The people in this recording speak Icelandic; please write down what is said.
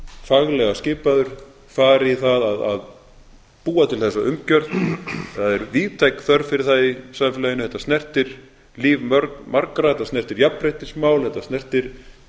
faglega skipaður fari í það að búa til þessa umgjörð það er víðtæk þörf fyrir það í samfélaginu þetta snertir líf margra þetta snertir jafnréttismál þetta snertir